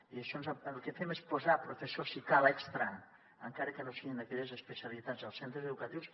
i per això el que fem és posar professors si calen extres encara que no siguin d’aquelles especialitats als centres educatius